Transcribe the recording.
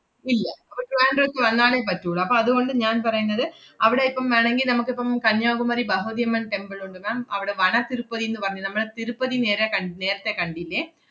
ഇല്ല അപ്പ~ ട്രിവാൻഡ്രത്ത് വന്നാലേ പറ്റൂള്ളൂ. അപ്പ അതുകൊണ്ട് ഞാൻ പറയുന്നത് അവടെ ഇപ്പം വേണോങ്കി നമ്മുക്കിപ്പം കന്യാകുമരി ബഹവതി അമ്മൻ temple ഉണ്ട് ma'am അവടെ വനത്തിരുപ്പതിന്ന് പറഞ്ഞ നമ്മളെ തിരുപ്പതി നേരെ കണ്ട~ നേരത്തെ കണ്ടില്ലേ?